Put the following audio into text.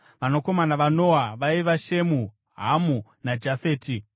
Vanakomana vaNoa vaiva: Shemu, Hamu, naJafeti.